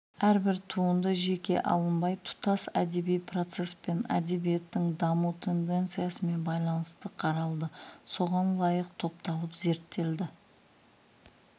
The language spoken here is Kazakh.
әрбір туынды жеке алынбай тұтас әдеби процеспен әдебиеттің даму тенденциясымен байланысты қаралды соған лайық топталып зерттелді